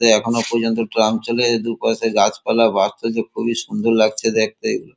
এতে এখনো পর্যন্ত ট্রাম চলে এ দুপাশে গাছপালা বাস্তবে খুবই সুন্দর লাগছে দেখতে এগুলো ।